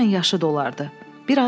Elə mənlə yaşı dolardı.